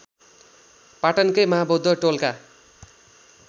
पाटनकै महाबौद्ध टोलका